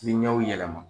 Ni ɲɛw yɛlɛma